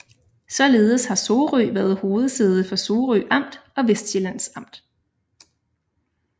Således har Sorø været hovedsæde for Sorø Amt og Vestsjællands Amt